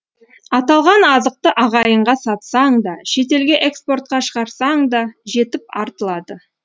аталған азықты ағайынға сатсаң да шетелге экспортқа шығарсаң да жетіп артылады